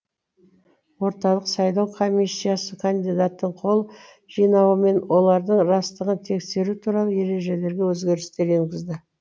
орталық сайлау комиссиясы кандидаттың қол жинауы мен олардың растығын тексеру туралы ережелерге өзгерістер енгізді